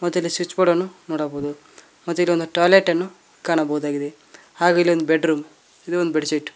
ಮತ್ತೆ switch board ಅನ್ನು ನೋಡಬಹುದು ಮತ್ತು ಇನ್ನೊಂದು ಟಾಯ್ಲೆಟ್ ಅನ್ನು ಕಾಣಬಹುದಾಗಿದೆ ಹಾಗೆ ಇಲ್ಲಿ ಒಂದು ಬೆಡ್ರೂಮ್ ಇದು ಒಂದು ಬೆಡ್ಶೀಟ್ .